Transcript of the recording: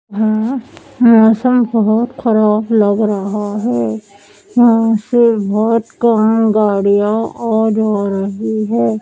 हां मौसम बहोत ख़राब लग रहा है यहाँ से बहोत अं गाड़ियाँ आ जा रही है।